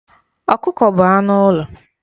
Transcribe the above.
Ọkụkọ bụ anụ ụlọ.